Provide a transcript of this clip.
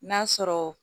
N'a sɔrɔ